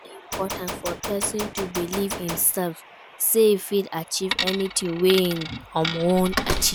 E de important for persin to believe in imself say e fit achieve anything wey im won achieve